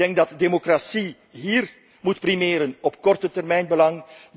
Ik denk dat de democratie hier moet primeren op kortetermijnbelang.